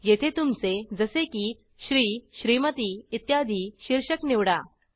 येथे तुमचे जसे की श्री श्रीमती इत्यादी शीर्षक निवडा